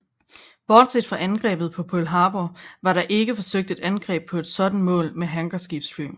Bortset fra angrebet på Pearl Harbor var der ikke forsøgt et angreb på et sådant mål med hangarskibsfly